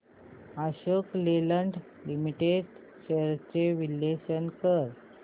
Ashok Leyland limited shares चे विश्लेषण कर